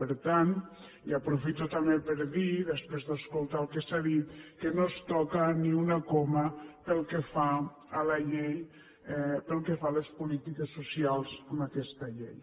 per tant i aprofito també per dir ho després d’escoltar el que s’ha dit que no es toca ni una coma pel que fa a les polítiques socials amb aquesta llei